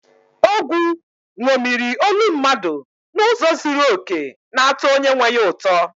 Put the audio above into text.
Ogwu ṅomiri olu mmadụ n’ụzọ zuru oke, na-atọ onye nwe ya ụtọ.